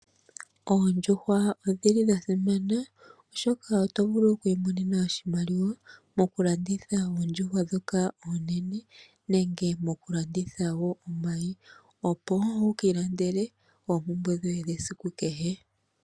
Oondjuhwa odhi li dha simana, oshoka oto vulu oku imonena oshimaliwa mokulanditha oondjuhwa ndhoka oonene nenge mokulanditha wo omayi, opo wu ka ilandele oompumbwe dhoye dhesiku kehe.